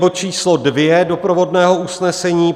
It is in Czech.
Bod číslo 2 doprovodného usnesení.